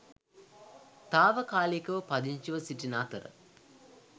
තාවකාලිකව පදිංචිව සිටින අතර